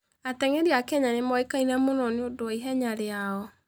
Ateng'eri a Kenya nĩ moĩkaine mũno nĩ ũndũ wa ihenya rĩao.